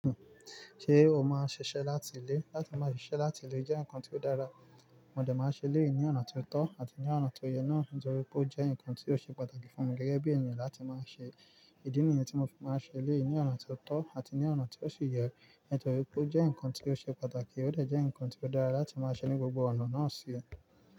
Ṣé o máa n ṣiṣẹ́ láti ilé? Látí má ṣíṣe láti ilé jẹ́ ǹkan tí ó dára, mo dè máa n ṣẹ eléyì ní ọ̀nà tí ó tọ̀ àti ní ọ̀nà tó yẹ náà nítorí pé ó jẹ́ ǹkan tí ó ṣe pàtàkì fún mi gẹ́gẹ́ bí èèyàn láti má ṣe. Ìdí nìyen tí mo fi máa ṣẹ eléyì ní ọ̀nà tí ó tọ̀ àti ní ọ̀nà tí ó sì yẹ nítorí pé ó jẹ́ ǹkan tí ó ṣe pàtàkì, ó dà de ǹkan tí ó dára láti máa ṣẹ ní gbogbo ọ̀nà náà ṣí.